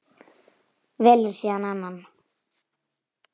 Velur síðan annan.